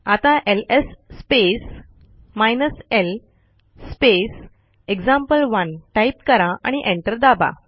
आता L S space hyphen L space example one type करा आणि एंटर दाबा